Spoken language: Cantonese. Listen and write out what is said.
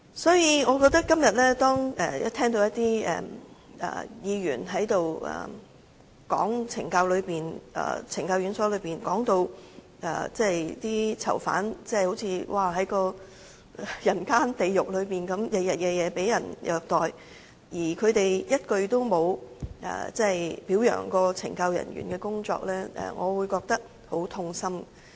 所以，今天當我聽到有議員講述懲教院所的情況，把囚犯說成是活在人間地獄，日日夜夜也被人虐待，卻一句也沒有表揚懲教人員的工作，我認為便是很痛心的。